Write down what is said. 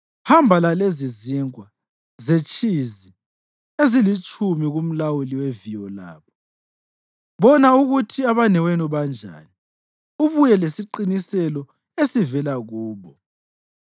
Hamba lalezizinkwa zetshizi ezilitshumi kumlawuli weviyo labo. Bona ukuthi abanewenu banjani, ubuye lesiqiniselo esivela kubo.